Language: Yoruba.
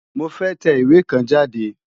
Mo fẹ́ tẹ ìwé kan jáde.